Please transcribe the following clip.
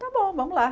Tá bom, vamos lá.